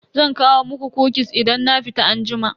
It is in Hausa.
Zan kawo muku "kukis" idan na fita anjima.